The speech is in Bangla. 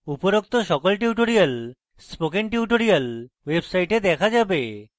উপরোক্ত সকল tutorials spoken tutorials website দেখা যাবে